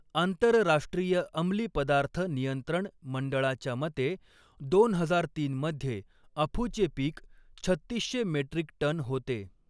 आंतरराष्ट्रीय अंमली पदार्थ नियंत्रण मंडळाच्या मते, दोन हजार तीन मध्ये अफूचे पीक छत्तीसशे मेट्रिक टन होते.